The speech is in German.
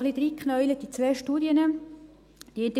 Ich habe mich etwas in zwei Studien hineingekniet.